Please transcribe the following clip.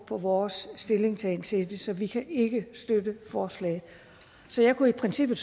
på vores stillingtagen til det så vi kan ikke støtte forslaget så jeg kunne i princippet